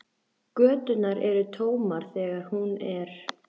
Göturnar eru tómar þegar hún er.